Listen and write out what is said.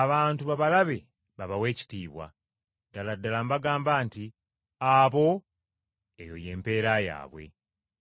abantu babalabe babawe ekitiibwa. Ddala ddala mbagamba nti Abo, eyo y’empeera yaabwe.